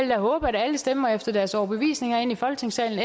vil håbe at alle stemmer efter deres overbevisning herinde i folketingssalen